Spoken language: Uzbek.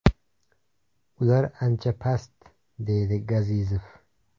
Ular ancha past”, deydi Gazizov.